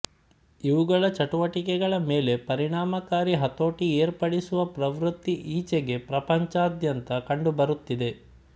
ಇವುಗಳ ಚಟುವಟಿಕೆಗಳ ಮೇಲೆ ಪರಿಣಾಮಕಾರಿ ಹತೋಟಿ ಏರ್ಪಡಿಸುವ ಪ್ರವೃತ್ತಿ ಈಚೆಗೆ ಪ್ರಪಂಚಾದ್ಯಂತ ಕಂಡುಬರುತ್ತಿದೆ